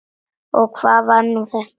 Og hvað var nú þetta!